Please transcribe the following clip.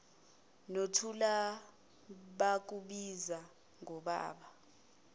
nothula bakubiza ngobaba